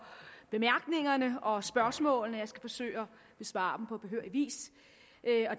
bemærkningerne og spørgsmålene som jeg skal forsøge at besvare på behørig vis